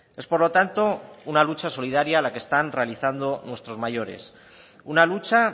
es por lo tanto una lucha solidaria la que están realizando nuestros mayores una lucha